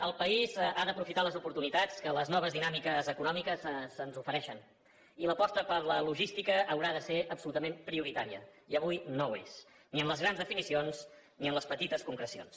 el país ha d’aprofitar les oportunitats que les noves dinàmiques econòmiques ens ofereixen i l’aposta per la logística haurà de ser absolutament prioritària i avui no ho és ni en les grans definicions ni en les petites concrecions